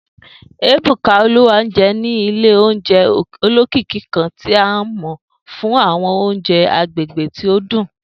Ebuka, Oluwanje, ni ile ounjẹ olokiki kan ti a mọ fun awọn ounjẹ agbegbe ti o dun.